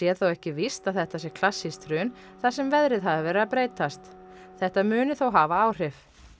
þó ekki víst að þetta sé klassískt hrun þar sem veðrið hafi verið að breytast þetta muni þó hafa áhrif